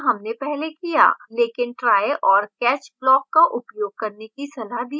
लेकिन try और catch block का उपयोग करने की सलाह दी जाती है